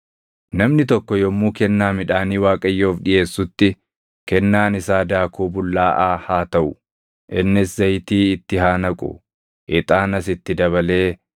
“ ‘Namni tokko yommuu kennaa midhaanii Waaqayyoof dhiʼeessutti, kennaan isaa daakuu bullaaʼaa haa taʼu. Innis zayitii itti haa naqu; ixaanas itti dabalee,